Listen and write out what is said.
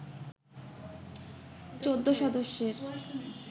১৪ সদস্যের